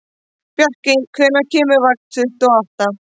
Bjarki, hvenær kemur vagn númer tuttugu og átta?